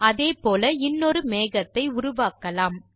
அதே போல இன்னொரு மேகத்தை உருவாக்கலாம்